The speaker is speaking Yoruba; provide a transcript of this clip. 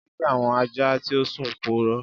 Jẹ ki awọn aja ti o sun purọ.